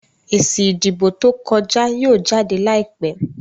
èsì ìdìbò tó kọja yíò jáde láìpé.